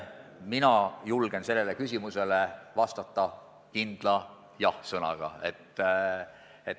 Mina julgen sellele küsimusele vastata kindla jah-sõnaga.